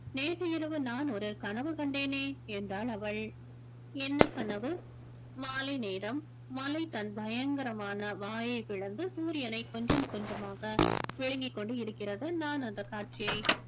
நேற்று இரவு நான் ஒரு கனவு கண்டேனே என்றாள் அவள் என்ன கனவு மாலை நேரம் மாலை தன் பயங்கரமான வாயை பிளந்து சூரியனை கொஞ்சம் கொஞ்சமாக விழுங்கிக் கொண்டு இருக்கிறது நான் அந்தக் காட்சியை